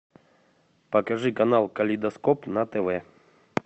покажи канал калейдоскоп на тв